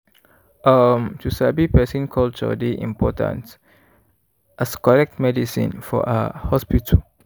um to sabi person culture dey important as correct medicine for ah hospital.